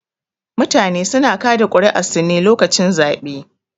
Mutane suna kaɗa ƙuri'arsu ne lokacin zaɓe